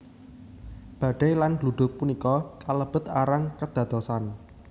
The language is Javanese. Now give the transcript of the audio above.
Badai lan gluduk punika kalebet arang kedadosan